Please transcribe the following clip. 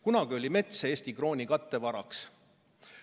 Kunagi oli mets Eesti krooni kattevaraks.